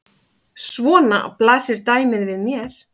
Svona blasir dæmið við mér.